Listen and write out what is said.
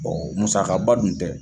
musakaba dun tɛ.